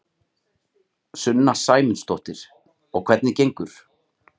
Sunna Sæmundsdóttir: Og hvernig gengur?